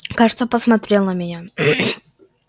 кажется посмотрел на меня